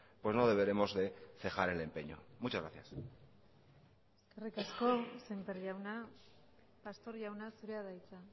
pues no deberemos de cejar el empeño muchas gracias eskerrik asko sémper jauna pastor jauna zurea da hitza